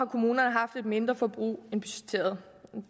kommunerne haft et mindre forbrug end budgetteret